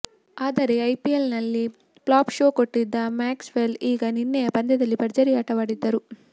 ಆದರೆ ಐಪಿಎಲ್ ನಲ್ಲಿ flop show ಕೊಟ್ಟಿದ್ದ ಮ್ಯಾಕ್ಸ್ ವೆಲ್ ಈಗ ನಿನ್ನೆಯ ಪಂದ್ಯದಲ್ಲಿ ಭರ್ಜರಿ ಆಟವಾಡಿದ್ದರು